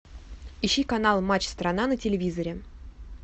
ищи канал матч страна на телевизоре